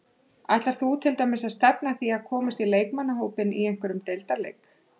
Ætlar þú til dæmis að stefna að því að komast í leikmannahópinn í einhverjum deildarleik?